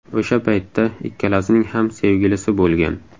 O‘sha paytda ikkalasining ham sevgilisi bo‘lgan.